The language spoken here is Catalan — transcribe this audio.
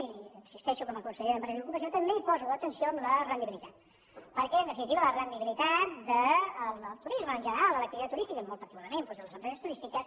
i hi insisteixo com a conseller d’empresa i ocupació també poso atenció en la rendibilitat perquè en definitiva la rendibilitat del turisme en general de l’activitat turística i molt particularment doncs de les empreses turístiques